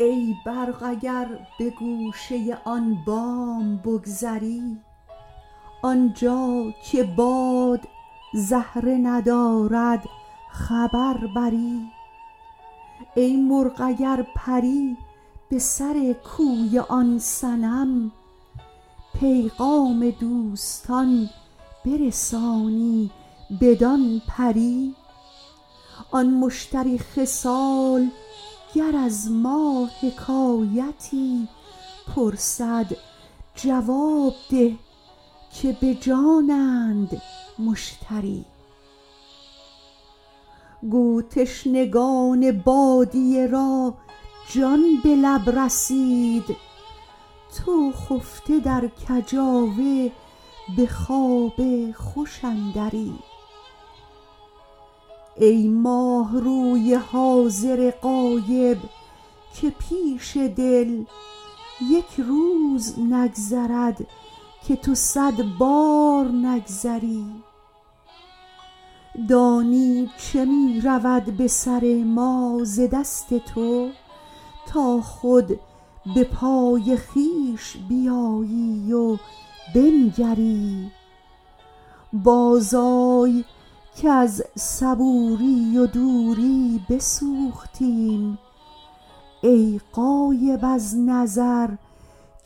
ای برق اگر به گوشه آن بام بگذری آنجا که باد زهره ندارد خبر بری ای مرغ اگر پری به سر کوی آن صنم پیغام دوستان برسانی بدان پری آن مشتری خصال گر از ما حکایتی پرسد جواب ده که به جانند مشتری گو تشنگان بادیه را جان به لب رسید تو خفته در کجاوه به خواب خوش اندری ای ماهروی حاضر غایب که پیش دل یک روز نگذرد که تو صد بار نگذری دانی چه می رود به سر ما ز دست تو تا خود به پای خویش بیایی و بنگری بازآی کز صبوری و دوری بسوختیم ای غایب از نظر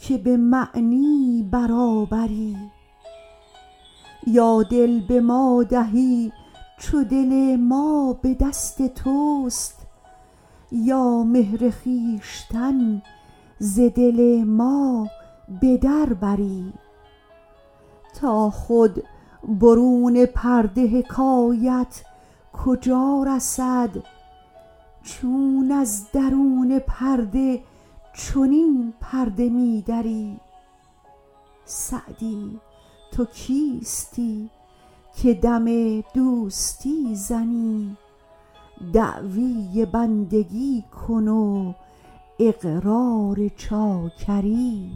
که به معنی برابری یا دل به ما دهی چو دل ما به دست توست یا مهر خویشتن ز دل ما به در بری تا خود برون پرده حکایت کجا رسد چون از درون پرده چنین پرده می دری سعدی تو کیستی که دم دوستی زنی دعوی بندگی کن و اقرار چاکری